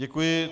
Děkuji.